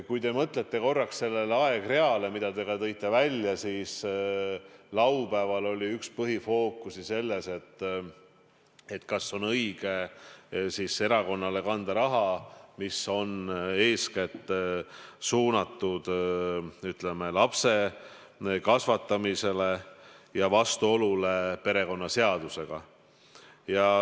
Kui te mõtlete korraks sellele aegreale, mida te ka tõite esile, siis laupäeval oli üks põhifookusi selles, kas on õige erakonnale kanda raha, mis on eeskätt suunatud lapse kasvatamisele, ja kas on vastuolu perekonnaseadusega.